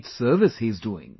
great service he is doing